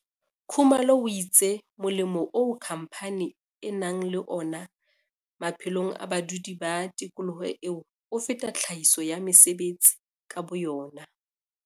Khumalo o itse molemo oo khamphane e nang le wona maphelong a badudi ba tikoloho eo, o feta tlhahiso ya mesebetsi ka boyona.